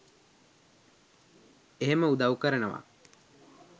එහෙම උදව් කරනවා.